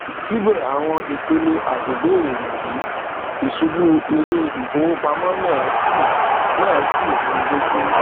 sibe awon ipele atibere niyi isubu ileifowopamo naa si naa si runi loju